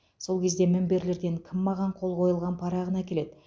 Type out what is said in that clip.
сол кезде мінберлерден кім маған қол қойылған парағын әкеледі